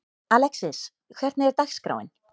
Alexis, hvernig er dagskráin?